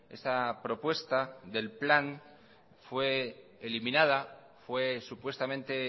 esa propuesta del plan fue eliminada fue supuestamente